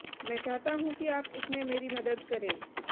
मैं चाहता हूं कि आप इसमें मेरी मदद करें